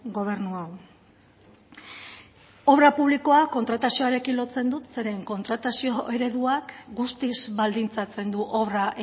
gobernu hau obra publikoa kontratazioarekin lotzen dut zeren kontratazio ereduak guztiz baldintzatzen du obra